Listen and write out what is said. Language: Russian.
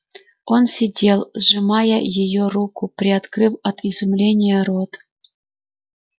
он сидел сжимая её руку приоткрыв от изумления рот